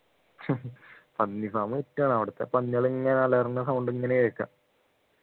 പന്നി farm wit ആണ് അവിടെത്തെ പന്നികളിങ്ങനെ അലറുന്ന sound ഇങ്ങനെ കേൾക്കാം